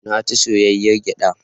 Na ci soyayyar gyaɗa.